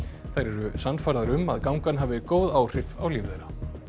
þær eru sannfærðar um að gangan hafi góð áhrif á líf þeirra